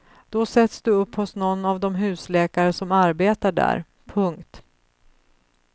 Då sätts du upp hos någon av de husläkare som arbetar där. punkt